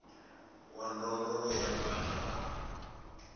wa ndondolo ya vhana a